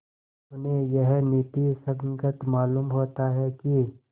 उन्हें यह नीति संगत मालूम होता है कि